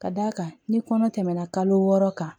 Ka d'a kan ni kɔnɔ tɛmɛna kalo wɔɔrɔ kan